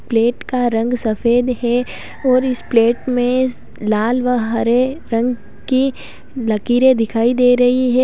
Plate का रंग सफेद है और इस प्लेट में लाल वह हरे रंग की लकीरें दिखाई दे रही है।